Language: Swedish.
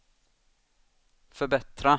förbättra